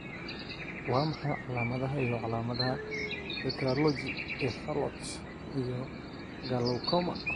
Waa maxay calaamadaha iyo calaamadaha tetralogy ee fallot iyo glaucoma?